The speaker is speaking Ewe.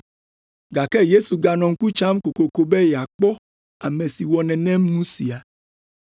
Gake Yesu ganɔ ŋku tsam kokoko be yeakpɔ ame si wɔ nenem nu sia.